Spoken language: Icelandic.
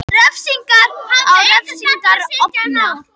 Refsingar á refsingar ofan